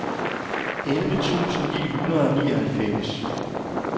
elleve tusind ni hundrede og nioghalvfems